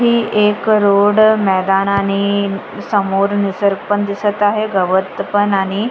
ही एक रोड मैदान आणि समोर निसर्ग पण दिसत आहे गवत पण आणि --